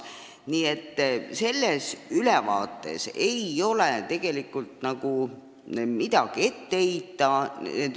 Nii et sellele aruandele ei ole tegelikult nagu midagi ette heita.